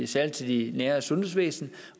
særlig til det nære sundhedsvæsen